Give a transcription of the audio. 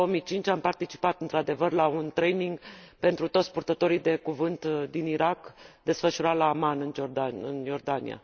În 2005 am participat, într adevăr, la un training pentru toți purtătorii de cuvânt din Irak, desfășurat la Amman, în Iordania.